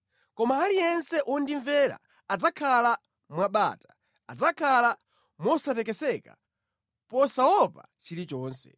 Koma aliyense wondimvera adzakhala mwa bata; adzakhala mosatekeseka posaopa chilichonse.”